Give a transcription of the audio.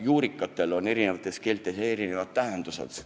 Juurikatel on eri keeltes erinevad nimetused.